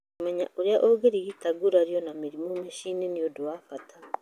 Kũmenya ũrĩa ũngĩrigita ngurario na mĩrimũ mũciĩ nĩ ũndũ wa bata.